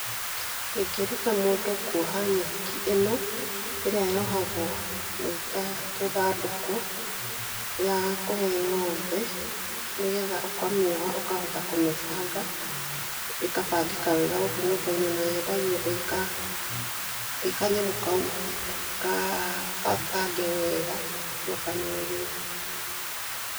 Ingĩruta mũndũ kuoha nyeki ĩno ĩria yohagwo ĩta tũthandũkũ ya kũhe ng'ombe, nĩgetha ũkamĩoha ũkahota kũmĩbanga, ĩkabangĩka wega gũkũ nyũmba-inĩ, na yendagio ĩĩ kanyamũ kau, kabange wega, gacokanĩrĩrie.